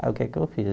Aí o que eu fiz?